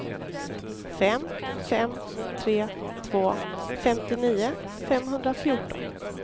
fem fem tre två femtionio femhundrafjorton